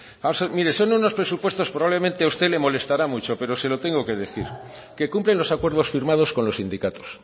vamos a ver mire son unos presupuestos probablemente a usted le molestará mucho pero se lo tengo que decir que cumplen los acuerdos firmados con los sindicatos